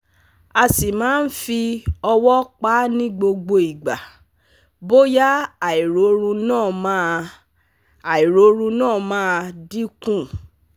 A si man fi owo pa ni gbogbo igba boya airorun na ma airorun na ma dinku